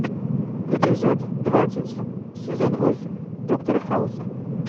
эпизод двадцать сезон восемь доктора хауса